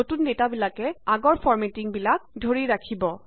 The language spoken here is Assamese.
নতুন ডেটাবিলাকে আগৰ ফৰ্মেটিংবোৰ ধৰি ৰাখিব